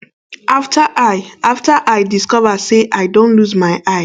afta i afta i discover say i don lose my eye